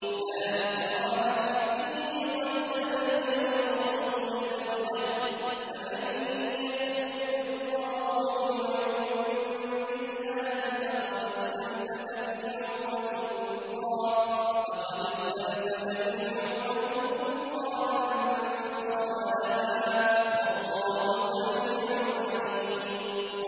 لَا إِكْرَاهَ فِي الدِّينِ ۖ قَد تَّبَيَّنَ الرُّشْدُ مِنَ الْغَيِّ ۚ فَمَن يَكْفُرْ بِالطَّاغُوتِ وَيُؤْمِن بِاللَّهِ فَقَدِ اسْتَمْسَكَ بِالْعُرْوَةِ الْوُثْقَىٰ لَا انفِصَامَ لَهَا ۗ وَاللَّهُ سَمِيعٌ عَلِيمٌ